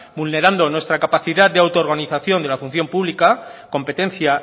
vulnerando nuestra capacidad de auto organización de la función pública competencia